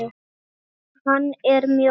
Hann er mjór.